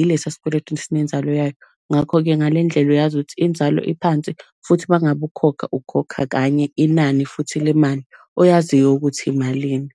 ilesa sikweletu esinenzalo yayo. Ngakho-ke ngale ndlela uyazi ukuthi inzalo iphansi, futhi uma ngabe ukhokha ukhokha kanye inani futhi lemali oyaziyo ukuthi malini.